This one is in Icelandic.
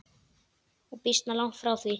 Og býsna langt frá því.